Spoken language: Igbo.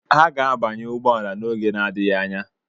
Ha ga-abanye ụgbọ ala n'oge n'adịghị anya.